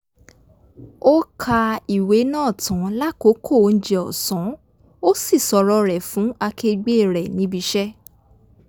ó ka ìwé náà tán lákòókò oúnjẹ ọ̀sánó sì sọ̀rọ̀ rè fún akegbẹ́ rẹ̀ níbiṣẹ́